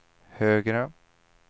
högre